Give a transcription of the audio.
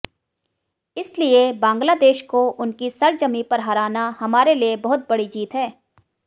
इसलिए बांग्लादेश को उनकी सरजमीं पर हराना हमारे लिए बहुत बड़ी जीत है